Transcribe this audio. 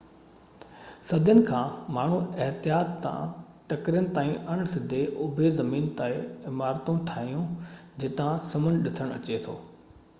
صدين کان ماڻهن احتياط سان ٽڪرين تائين اڻ سڌي اُڀي زمين تي عمارتون ٺاهيون جتان سمنڊ ڏسڻ اچي ٿو